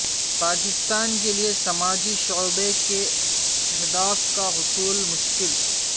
پاکستان کے لیے سماجی شعبے کے اہداف کا حصول مشکل